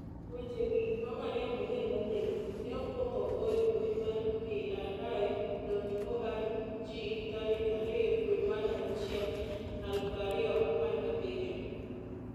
Wechegi, ma Maria Murriel nondiko, ne okwong ogo embui mar PRI.org tarik 2, dwe mara auchiel, 2017.